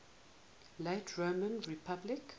late roman republic